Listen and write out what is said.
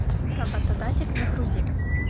работодатель загрузи